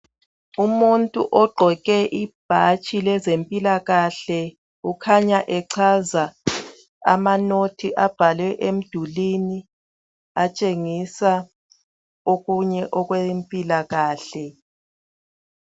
Umuntu ogqoke ibhatshi lezempilakahle ukhanya echaza amanothi abhalwe emdulini atshengisa okunye okwempilakahle.